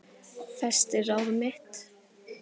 Festi ráð mitt